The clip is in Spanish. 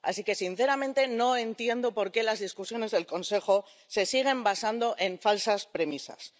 Así que, sinceramente, no entiendo por qué las discusiones del Consejo se siguen basando en falsas premisas.